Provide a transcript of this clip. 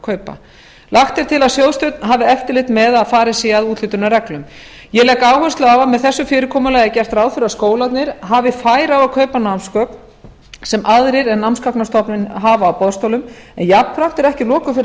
námsgagnakaupa lagt er til að sjóðstjórn hafi eftirlit með að farið sé að úthlutunarreglum ég legg áherslu á að með þessu fyrirkomulagi er gert ráð fyrir að skólarnir hafi færi á að kaupa námsgögn sem aðrir en námsgagnastofnun hafa á boðstólum en jafnframt er ekki loku fyrir